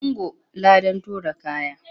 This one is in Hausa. Ungo! ladan tura kaya.